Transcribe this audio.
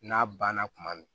N'a banna tuma min